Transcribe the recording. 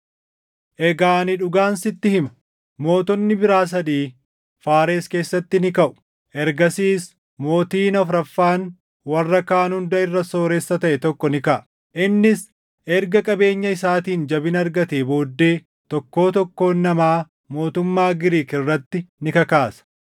“Egaa ani dhugaan sitti hima: Mootonni biraa sadii Faares keessatti ni kaʼu; ergasiis mootiin afuraffaan warra kaan hunda irra sooressa taʼe tokko ni kaʼa. Innis erga qabeenya isaatiin jabina argatee booddee tokkoo tokkoo namaa mootummaa Giriik irratti ni kakaasa.